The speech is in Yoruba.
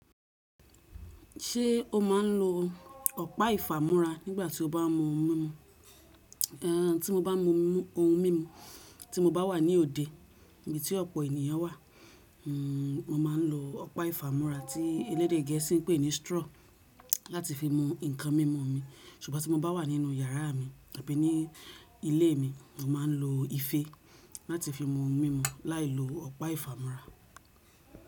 Ṣé o máa ń lo ọ̀pá ìfàmúra nígbà tí o bá mọ ohun mímu? Ehn tí mo bá mú ohun mímu, tí mo bá wà ní òde níbití ọ̀pọ̀ ènìyàn wà, hm máa ń lo ọ̀pá ìfàmúra tí ẹlẹ́dẹ̀ gẹ̀ẹ́sì pè ní straw láti fi mu nǹkan mímu mi, ṣùgbọ́n tí mo bá wà nínú yàrá mi àbí ní ilé mi, màá ń lo ife láti fi mú ohun mímu láì lo ọ̀pá ìfàmúra.